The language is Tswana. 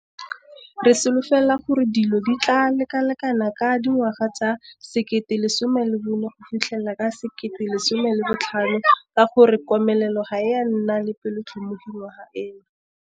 Re solofela gore dilo di tlaa lekalekana ka dingwaga tsa 2014-2015 ka gore komelelo ga e a nna le bopelotlhomogi ngwaga ena.